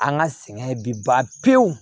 An ka sɛgɛn bi ban pewu